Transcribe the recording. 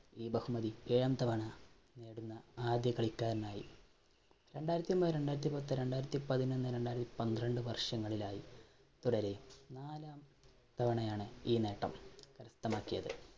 ഈ ബഹുമതി ഏഴാം തവണ നേടുന്ന ആദ്യ കളിക്കാരനായി. രണ്ടായിരത്തി ഒന്ന്, രണ്ടായിരത്തിപത്ത്, രണ്ടായിരത്തി പതിനൊന്ന്, രണ്ടായിരത്തി പന്ത്രണ്ട് വർഷങ്ങളിലായി തുടരെ നാലാം തവണയാണ് ഈ നേട്ടം കരസ്ഥമാക്കിയത്.